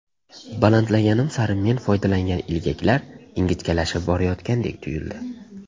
Balandlaganim sari men foydalangan ilgaklar ingichkalashib borayotgandek tuyuldi.